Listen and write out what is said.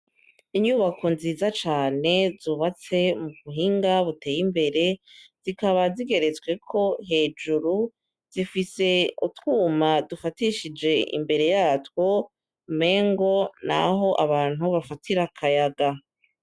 Inyubako nziza cane zubatswe mubuhinga buteye imbere, zikaba zigeretsweko hejuru, zifise utwuma dufatishije imbere yatwo umengo naho abantu bafatira akayaga